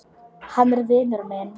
Hann er vinur minn.